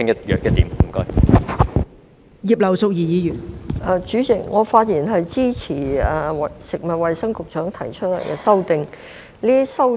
代理主席，我發言支持食物及衞生局局長提出的修正案。